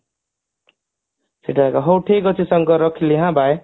ସେଟା ଏକା ହଉ ଠିକ ଅଛି ସାଙ୍ଗ ରଖିଲି ହାଁ bye